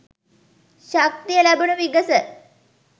ශක්තිය ලැබුණු විගස